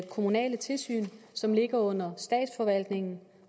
kommunale tilsyn som ligger under statsforvaltningen